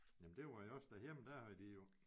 Jamen det var jeg også derhjemme der havde de jo